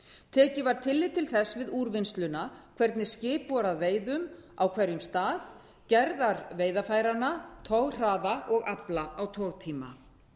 tekið var tillit til þess við úrvinnsluna hvernig skip voru á veiðum á hverjum stað gerðar veiðarfæranna toghraða og afla á togtíma